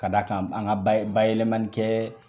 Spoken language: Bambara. Ka da kan an ka bayɛlɛɛmani kɛ